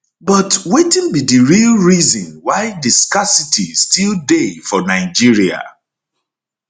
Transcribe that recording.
but wetin be di real reason why di scarcity still dey for nigeria